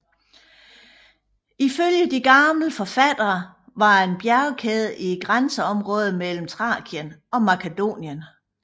Ifølge de gamle forfattere var det en bjergkæde i grænseområdet mellem Thrakien og Makedonien